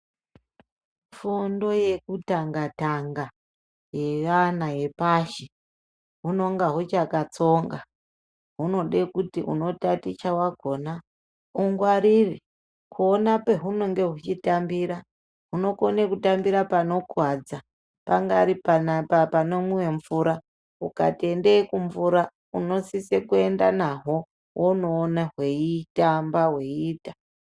Fundo yekutanga tanga yeana yepashi hunenge huchakatsonga. Hunode kuti unotaticha wakona ungwarire kuona pahunenge huchitambira. Hunokone kutambira panokuwadza. Pangari panomwiwe mvura, ukati ende kumbura unosise kuenda nahwo wonoona hweitamba hweiyita.